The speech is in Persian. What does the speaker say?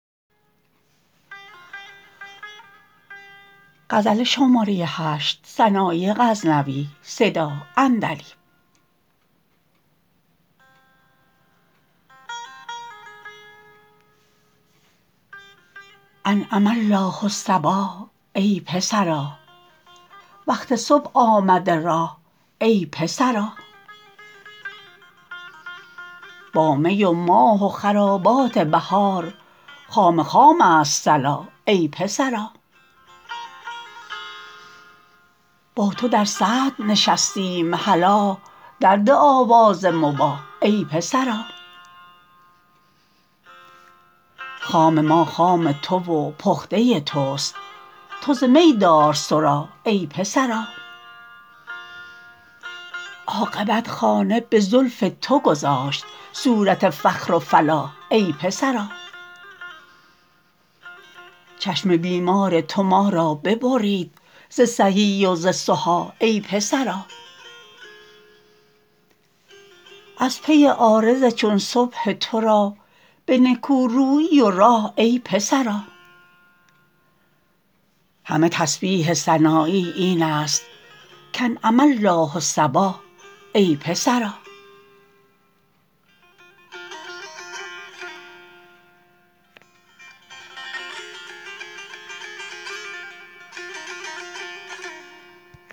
انعم الله صباح ای پسرا وقت صبح آمده راح ای پسرا با می و ماه و خرابات بهار خام خامست صلاح ای پسرا با تو در صدر نشستیم هلا در ده آواز مباح ای پسرا خام ما خام تو و پخته تست تو ز می دار صراح ای پسرا عاقبت خانه به زلف تو گذاشت صورت فخر و فلاح ای پسرا چشم بیمار تو ما را ببرید ز صحیح و ز صحاح ای پسرا از پی عارض چون صبح ترا به نکورویی و راح ای پسرا همه تسبیح سنایی این است کانعم الله صباح ای پسرا